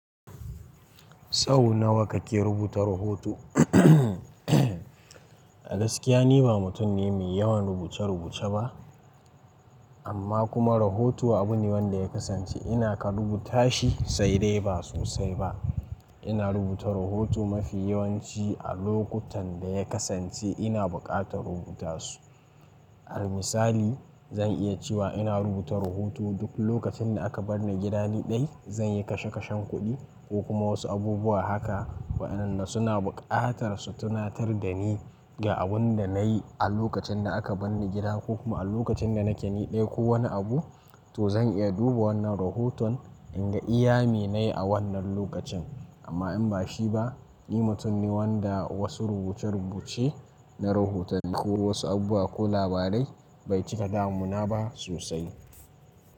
Sau nawa kake rubuta rahoto? A gaskiya ni ba mutum ne mai yawan rubuce-rubuce ba, amma kuma rahoto abu ne wanda ya kasance ina ka rubuta shi sai dai ba sosai ba. Ina rubuta rahoto mafi yawanci a lokutan da ya kasance ina buƙatar rubuta su. A misali, zan iya cewa ina rubuta rahoto duk lokacin da aka bar ni gida ni dai. Zan yi kashe-kashen kuɗi ko kuma wasu abubuwa haka wa'inda suna buƙatar su tunatar da ni ga abin da na yi a lokacin da aka bar ni gida ko kuma a lokacin da nake ni dai ko wani abu, to zan iya duba wannan rahoton in ga iyami nayi a wannan lokacin. Amma in ba shi ba, ni mutum ne wanda wasu rubuce-rubuce na rahota ne ko wasu abubuwa ko labarai bai cika damuna ba sosai.